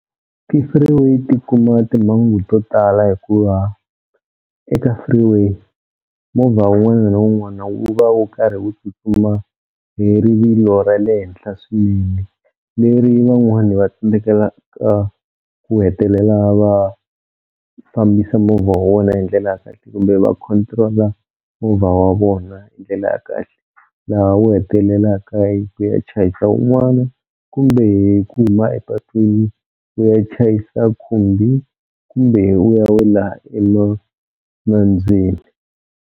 Ti-freeway tikuma timhangu to tala hikuva eka freeway movha wun'wana na wun'wana wu va wu karhi wu tsutsuma hi rivilo ra le henhla swinene leri van'wani va tsandzekelaka ku hetelela va fambisa movha wa wena hi ndlela ya kahle kumbe va control-a movha wa vona hi ndlela ya kahle laha wu hetelelaka hi ku ya chayisa wun'wana kumbe hi ku huma epatwini wu ya chayisa khumbi kumbe wu ya wela nambyeni.